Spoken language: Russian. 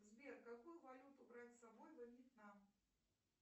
сбер какую валюту брать с собой во вьетнам